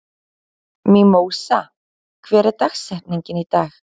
Mímósa, hver er dagsetningin í dag?